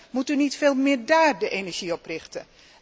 Moet u niet veel meer dáár de energie op richten?